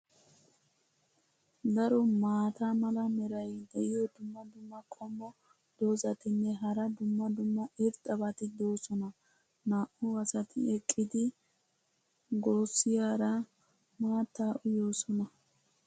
Daro maata mala meray diyo dumma dumma qommo dozzatinne hara dumma dumma irxxabati doosona. naa'u asati eqqidi gossiyaara maattaa uyyoosona.